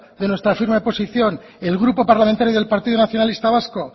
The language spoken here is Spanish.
de nuestra firma de posición el grupo parlamentario del partido nacionalista vasco